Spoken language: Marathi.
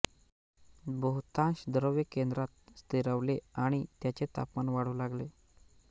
बहुतांश द्रव्य केंद्रात स्थिरावले आणि त्याचे तापमान वाढू लागले